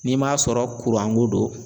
N'i m'a sɔrɔ kuranko don